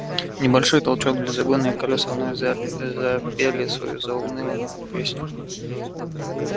небольшой толчок для разгона и колеса вновь запели свою заунывную песню